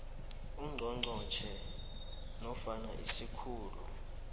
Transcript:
ungqongqotjhe nofana isikhulu